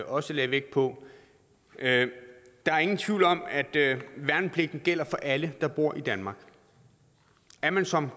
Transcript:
også lagde vægt på der er ingen tvivl om at værnepligten gælder for alle der bor i danmark er man som